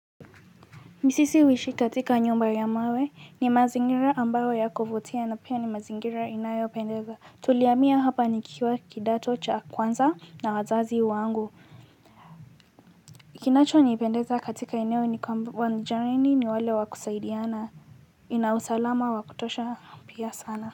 Sisi huishi katika nyumba ya mawe ni mazingira ambayo yakuvutia na pia ni mazingira inayopendeza. Tuliamia hapa nikiwa kidato cha kwanza na wazazi wangu. Kinacho nipendeza katika eneo ni kwa wanjareni ni wale wa kusaidiana. Ina usalama wa kutosha pia sana.